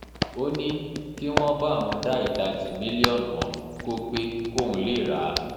ó ní kí wọ́n bá òun dá ìdajì mílíọ̀nù ọ̀hún kò pẹ́ kóun lè ráà